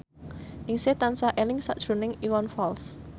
Ningsih tansah eling sakjroning Iwan Fals